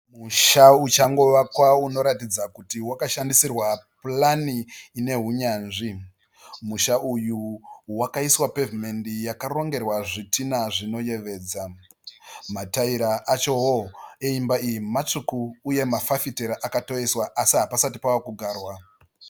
Musha uchangovakwa unoratidza kuti wakashandisirwa purani ine hunyanzvi. Musha uyu wakaiswa pevhimendi yakarongerwa zvitina zvinoyevedza. Mataira achawo eimba iyi matsvuku uye mafafitera akatoiswa asi hapasati pakugarwa.